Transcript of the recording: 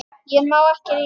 Ég má ekki rífast.